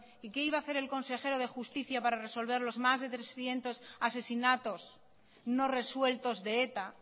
y qué iba a hacer el consejero de justicia para resolver los más de trescientos asesinatos no resueltos de eta